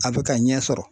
A bɛ ka ɲɛ sɔrɔ